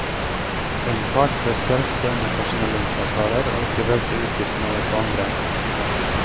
En part bør selv stå inne for sine lønnsavtaler og ikke velte utgiftene over på andre.